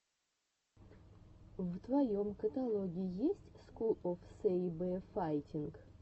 в твоем каталоге есть скул оф сэйбэфайтинг